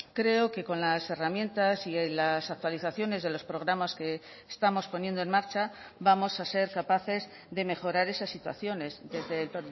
creo que con las herramientas y las actualizaciones de los programas que estamos poniendo en marcha vamos a ser capaces de mejorar esas situaciones desde el